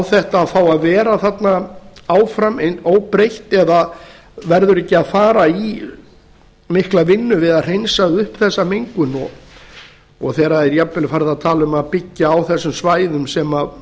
þetta að fá að vera þarna áfram óbreytt eða verður ekki að fara í mikla vinnu við að hreinsa upp þessa mengun og þegar það er jafnvel farið að tala um að byggja á þessum svæðum sem